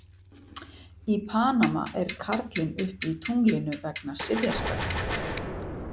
Í Panama er karlinn uppi í tunglinu vegna sifjaspella.